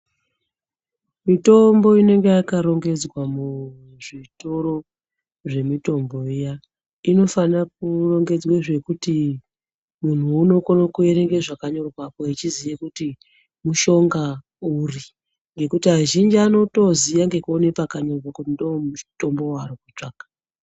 Mitombo inenge yaka rongedzwa mu zvitoro zve mitombo iya inofana kurongedzwe zvekuti munhu uno kone kuwerenge zvaka nyorwapo echiziye kuti mishonga uri nekuti azhinji anotoziya ngekuone paka nyorwa kuti ndo mutombo wa ari kutsvaka.